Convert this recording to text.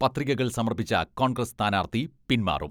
പത്രികകൾ സമർപ്പിച്ച കോൺഗ്രസ് സ്ഥാനാർഥി പിന്മാറും.